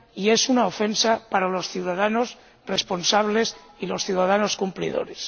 y es una ofensa para los ciudadanos responsables y los ciudadanos cumplidores.